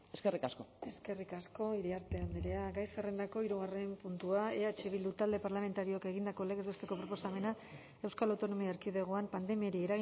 eskerrik asko eskerrik asko iriarte andrea gai zerrendako hirugarren puntua eh bildu talde parlamentarioak egindako legez besteko proposamena euskal autonomia erkidegoan pandemiari